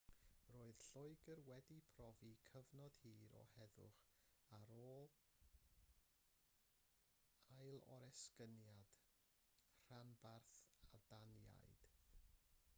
roedd lloegr wedi profi cyfnod hir o heddwch ar ôl ailoresygniad rhanbarth y daniaid